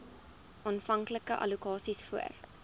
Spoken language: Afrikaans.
aanvanklike allokasies voor